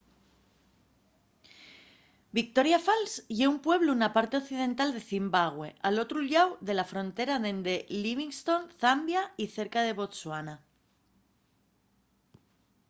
victoria falls ye un pueblu na parte occidental de zimbabue al otru llau de la frontera dende livingstone zambia y cerca de botsuana